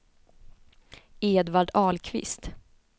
Edvard Ahlqvist